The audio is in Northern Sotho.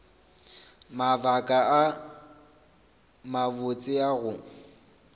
mabaka a mabotse a go